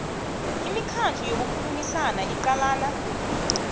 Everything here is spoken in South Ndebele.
imikhandlu yokukhulumisana iqalana